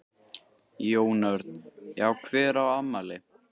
Jón Örn: Já hver á afmæli?